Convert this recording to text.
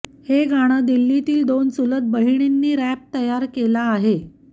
हे गाणं दिल्लीतील दोन चुलत बहिणींनी रॅप तयार केला आहे